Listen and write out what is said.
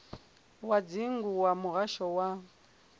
wa dzingu wa muhasho wa